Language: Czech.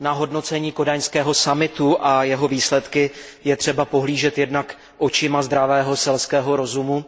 Na hodnocení kodaňského summitu a jeho výsledky je třeba pohlížet jednak očima zdravého selského rozumu